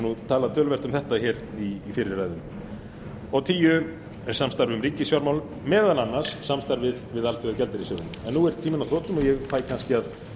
hef talað töluvert um þetta í fyrri ræðum númer tíu er samstarf um ríkisfjármál meðal annars samstarf við alþjóðagjaldeyrissjóðinn nú er tíminn á þrotum og ég fæ kannski að